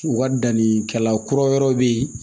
U ka dannikɛla kura wɛrɛw be yen